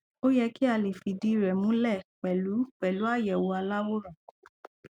ó yẹ kí a lè fìdíi rẹ múlẹ pẹlú pẹlú àyẹwò aláwòrán